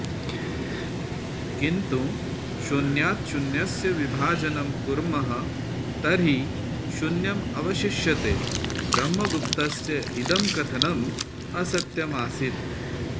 किन्तु शून्यात् शून्यस्य विभाजनं कुर्मः तर्हि शून्यम् अवशिष्यते ब्रह्मगुप्तस्य इदं कथनं असत्यमासीत्